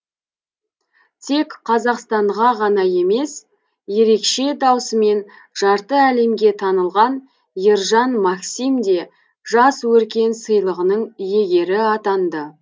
тек қазақстанға ғана емес ерекше даусымен жарты әлемге танылған ержан максим де жас өркен сыйлығының иегері атанды